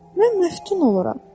Mən məftun oluram.